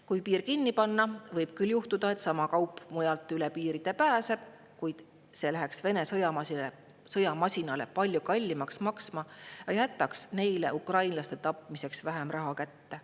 Kui piir kinni panna, võib küll juhtuda, et sama kaup pääseb üle piiride mujalt, kuid see läheks Vene sõjamasinale palju kallimaks maksma ja jätaks neile ukrainlaste tapmiseks vähem raha kätte.